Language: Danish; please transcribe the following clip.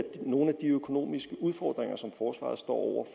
nogle af de økonomiske udfordringer som forsvaret står